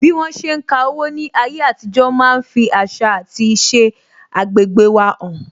Bí wọn ṣe ń ka owó ní ayé àtijó máa ń fi àṣà àti iṣẹ agbegbe wa han